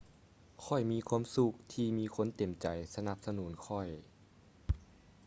ຂ້ອຍມີຄວາມສຸກທີ່ມີຄົນເຕັມໃຈສະໜັບສະໜູນຂ້ອຍ